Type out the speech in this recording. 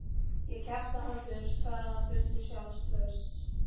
Ég kjafta hann burt, svaraði hann fullur sjálfstrausts.